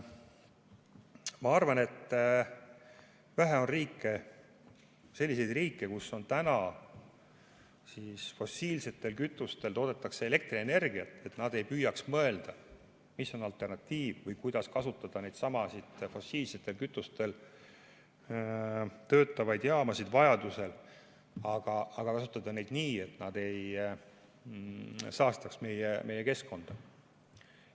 Ma arvan, et vähe on selliseid riike, kus täna toodetakse fossiilsetest kütustest elektrienergiat, aga nad ei püüa mõelda, mis on alternatiiv või kuidas neidsamu fossiilsetel kütustel töötavaid jaamasid vajaduse korral kasutada, aga kasutada neid nii, et nad ei saastaks keskkonda.